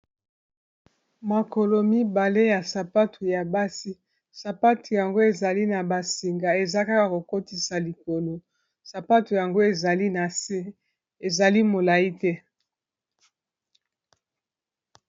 Makolo mibale ya sapatu ya basi sapatu yango ezali na basinga eza kaka kokotisa likolo sapatu yango ezali na se ezali molai te